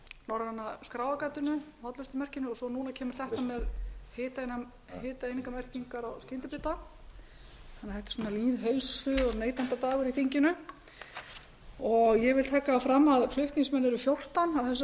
norræna skráargatinu hollustumerkinu og svo kemur þetta núna með hitaeiningamerkingar á skyndibita þetta er svona lýðheilsu og neytendadagur í þinginu ég vil taka það fram að flutningsmenn eru fjórtán á þessu